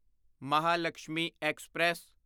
Mahalakshmi express